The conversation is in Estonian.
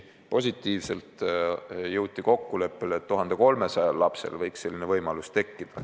Positiivsena aga jõuti kokkuleppele, et 1300 lapsel võiks selline võimalus tekkida.